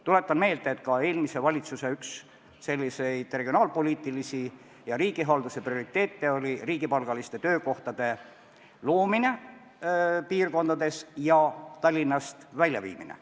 Tuletan meelde, et ka eelmise valitsuse üks regionaalpoliitilisi ja riigihalduse prioriteete oli riigipalgaliste töökohtade loomine piirkondades ja Tallinnast väljaviimine.